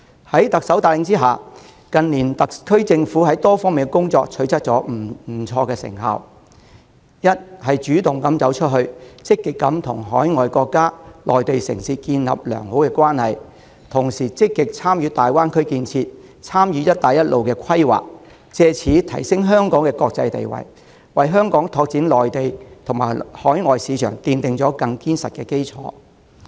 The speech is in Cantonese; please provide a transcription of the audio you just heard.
在特首帶領下，特區政府近年在多方面的工作都取得不錯的成效：一、主動走出去，積極與海外國家及內地城市建立良好關係，同時積極參與粵港澳大灣區建設，參與"一帶一路"規劃，藉此提升香港的國際地位，為香港拓展內地及海外市場奠定更堅實的基礎。